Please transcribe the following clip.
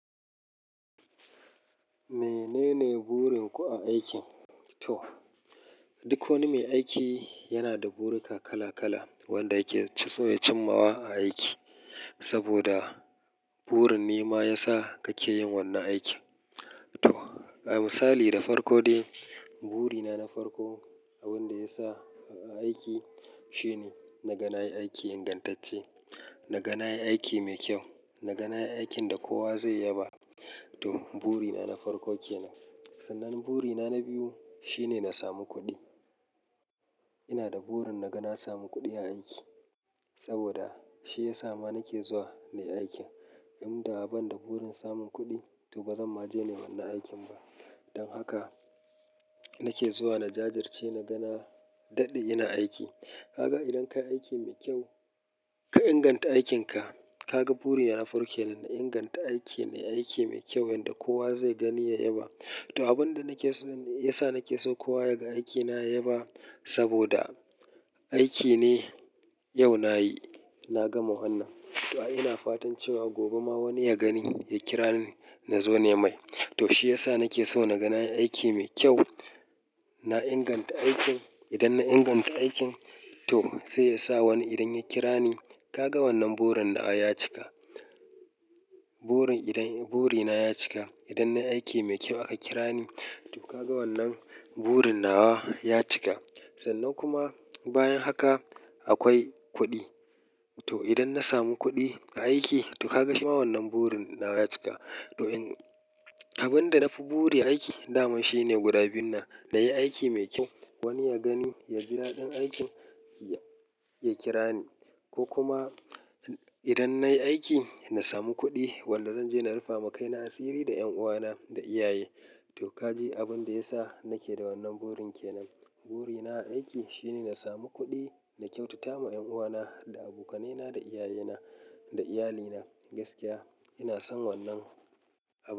Menene burin ku a aiki? To, duk wani mai aiki yana da burika kala-kala wanda yake so ya cimmawa a aiki. Saboda burin ne ma ya sa kake yin wannan aikin. To, misali da farko dai buri na na farko wanda ya sa aiki shine na ga nayi aiki ingantacce, na ga nayi aiki mai kyau, na ga nayi aikin da kowa zai yaba. To, buri na na farko kenan. Sannan buri na na biyu shine na samu kuɗi. Ina da burin na ga na samu kuɗi a aiki saboda shi ya sa ma nake zuwa nayi aikin. In da ban da burin samun kuɗi to ba zan ma je nayi wannan aikin ba. Don haka nake zuwa na jajirce, na ga na daɗe ina aiki. Kaga idan ka yi aiki mai kyau ka inganta aikinka, kaga buri na farko kenan na inganta aiki. Na yi aiki mai kyau wanda kowa zai gani ya yaba. To, abin da nake so ne ya sa nake so kowa ya ga aikina ya yaba saboda aiki ne yau nayi na gama wannan. To, ina fatan cewa gobe ma wani ya gani ya kira ni na zo nai mai. To, shi ya sa nake so na ga nayi aiki mai kyau. Na inganta aikin. Idan na inganta aikin to sai yasa wani idan ya kira ni, kaga wannan burin na ya cika. Burin idan-- buri na ya cika. Idan nayi aiki mai kyau aka kira ni, to kaga wannan burin nawa ya cika. Sannan kuma bayan haka akwai kuɗi. To, idan na samu kuɗi a aiki to ka ga shi ma wannan burin nawa ya cika. To in-- abin da na fi buri a aiki daman shine guda biyun nan na yi aiki mai kyau. Wani ya gani, ya ji daɗin aikin, ya, ya kira ni ko kuma idan nayi aiki na samu kuɗi wanda zan je na rufa ma kaina asiri da 'yan uwana da iyaye. To, ka ji abin da ya sa nake da wannan burin kenan. Buri na a aiki shine na samu kuɗi, na kyautata ma 'yan uwana da abokanai na da iyaye na da iyalina gaskiya. Ina son wannan abu.